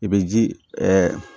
I bɛ ji